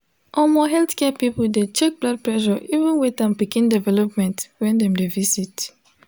omo healthcare people de check blood pressure even weight and pikin development when dem de visit